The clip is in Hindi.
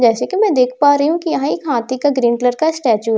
जैसे कि मैं देख पा रही हूं कि यहां एक हाथी का ग्रीन कलर का स्टैचू --